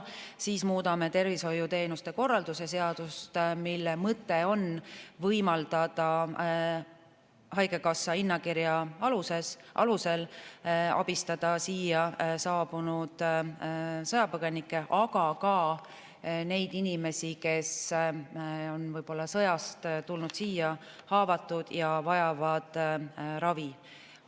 Veel muudame tervishoiuteenuste korralduse seadust, mille mõte on võimaldada haigekassa hinnakirja alusel abistada siia saabunud sõjapõgenikke, aga ka neid inimesi, kes on sõjast tulnud siia haavatuna ja vajavad ravi.